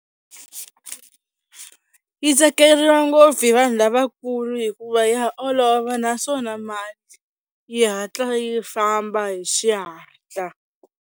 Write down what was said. Yi tsakeriwa ngopfu hi vanhu lavakulu hikuva ya olova naswona mali yi hatla yi famba hi xihatla.